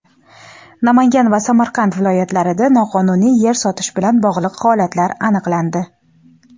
Namangan va Samarqand viloyatlarida noqonuniy yer sotish bilan bog‘liq holatlar aniqlandi.